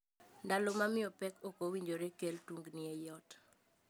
Ndalo ma miyo pek ok owinjore kel tungni ei ot.